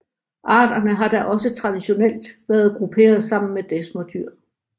Arterne har da også traditionelt været grupperet sammen med desmerdyr